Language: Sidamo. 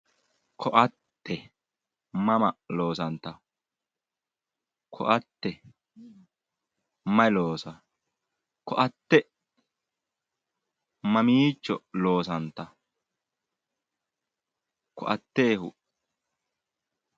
Ko'atte mama loosantawo ko'atte mayi loosaawo ko'atte mamiicho loosantawo ko'atteehu